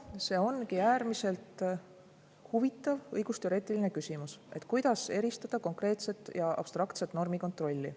See ongi äärmiselt huvitav õigusteoreetiline küsimus, kuidas eristada konkreetset ja abstraktset normikontrolli.